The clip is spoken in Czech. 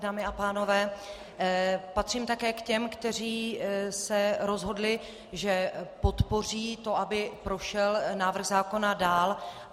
Dámy a pánové, patřím také k těm, kteří se rozhodli, že podpoří to, aby prošel návrh zákona dál.